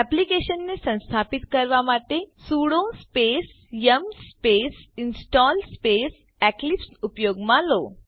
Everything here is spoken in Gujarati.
એક્લીપ્સ ને સંસ્થાપીત કરવા માટે sudo space yum space install space Eclipse ઉપયોગમાં લો